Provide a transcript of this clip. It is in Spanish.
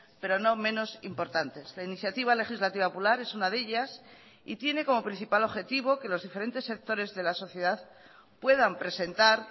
pero no menos importantes la iniciativa legislativa popular es una de ellas y tiene como principal objetivo que los diferentes sectores de la sociedad puedan presentar